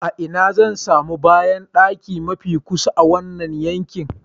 A ina zan sami bayandaki mafi kusa a wannan yanki?